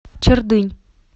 чердынь